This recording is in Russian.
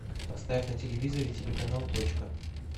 поставь на телевизоре телеканал точка